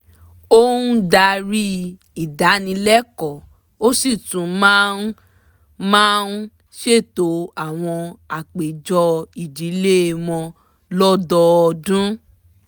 ó ń darí ìdánilẹ́kọ̀ọ́ ó sì tún máa ń máa ń ṣètò àwọn àpéjọ ìdílé wọn lọ́dọ́ọdún